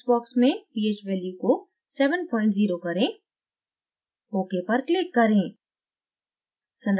text box में ph value को 70 करें ok पर click करें